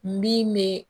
Min bɛ